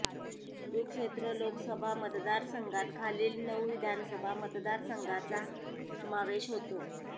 कुरूक्षेत्र लोकसभा मतदारसंघात खालील नऊ विधानसभा मतदारसंघांचा समावेश होतो